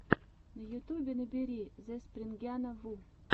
в ютубе набери зэспрингяна ву